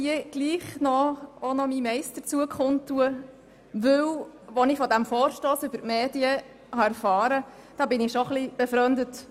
Als ich aus den Medien von diesem Vorstoss erfuhr, war ich schon etwas befremdet.